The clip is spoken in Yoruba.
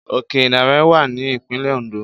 Òke ìdànrè wà ní ìpínlè Òǹdó